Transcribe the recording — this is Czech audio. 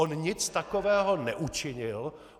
On nic takového neučinil.